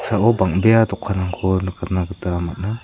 bangbea dokanrangko nikangna gita man·a.